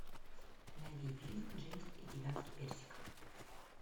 найди фильм джеймс и гигантский персик